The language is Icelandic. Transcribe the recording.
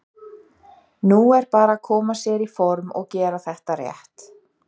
Nú er bara að koma sér í form og gera þetta rétt.